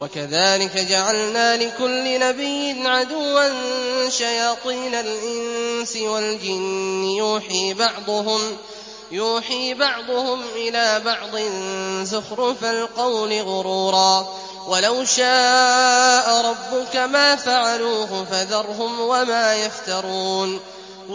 وَكَذَٰلِكَ جَعَلْنَا لِكُلِّ نَبِيٍّ عَدُوًّا شَيَاطِينَ الْإِنسِ وَالْجِنِّ يُوحِي بَعْضُهُمْ إِلَىٰ بَعْضٍ زُخْرُفَ الْقَوْلِ غُرُورًا ۚ وَلَوْ شَاءَ رَبُّكَ مَا فَعَلُوهُ ۖ فَذَرْهُمْ وَمَا يَفْتَرُونَ